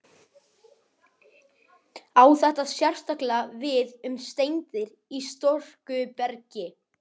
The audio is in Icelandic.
Á þetta sérstaklega við um steindir í storkubergi.